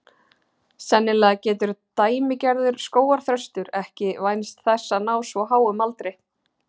sennilega getur „dæmigerður“ skógarþröstur ekki vænst þess að ná svo háum aldri